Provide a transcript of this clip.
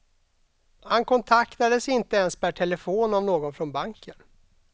Han kontaktades inte ens per telefon av någon från banken.